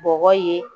Bɔgɔ ye